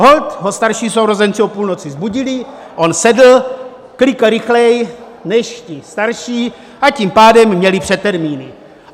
Holt ho starší sourozenci o půlnoci vzbudili, on sedl, klikl rychleji než ti starší, a tím pádem měli předtermíny.